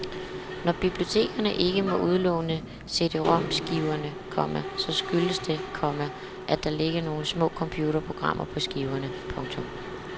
Når bibliotekerne ikke må udlåne CDromskiverne, komma så skyldes det, komma at der ligger nogle små computerprogrammer på skiverne. punktum